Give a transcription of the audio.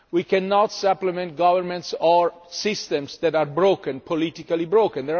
We cannot supplement governments or systems that are politically broken.